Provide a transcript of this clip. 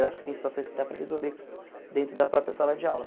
Eu acho que tem situações que dá para resolver dentro da própria sala de aula.